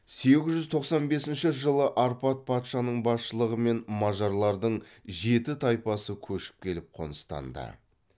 сегіз жүз тоқан бесінші жылы арпад патшаның басшылығымен мажарлардың жеті тайпасы көшіп келіп қоныстанды